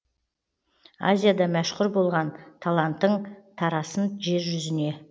азияда мәшһүр болған талантың тарасын жер жүзіне